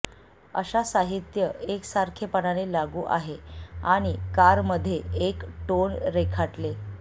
अशा साहित्य एकसारखेपणाने लागू आहे आणि कार मध्ये एक टोन रेखाटले